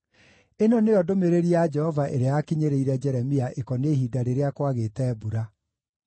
Ĩno nĩyo ndũmĩrĩri ya Jehova ĩrĩa yakinyĩrĩire Jeremia ĩkoniĩ ihinda rĩrĩa kwagĩte mbura: